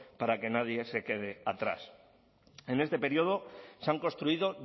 para que nadie se quede atrás en este periodo se han construido